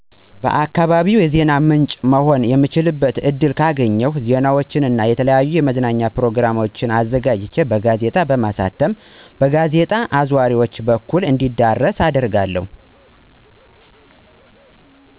ለአካባቢዬ የዜና ምንጭ መሆን የምችልበትን እድል ካገኝሁ ዜናዎችን እና የተለያዩ የመዝናኛ ፕርግሞችን አዘጋጅቼ በጋዜጣ በማሳተም በጋዜጣ አዟሪዎች በኩል እንዲዳረስ አደርጋለሁ።